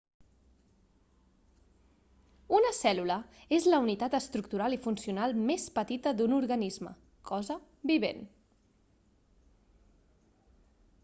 una cèl·lula és la unitat estructural i funcional més petita d'un organisme cosa vivent